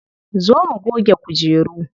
Zo mu goge kujeru.